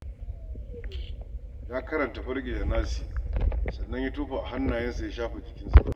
Ya karanta Falaƙi da Nasi, sannan ya tofa a hannayensa, ya shafe jikinsa.